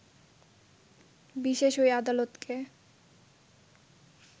বিশেষ ওই আদালতকে